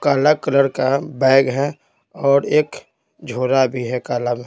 काला कलर का बैग है और एक झोला भी है काला का--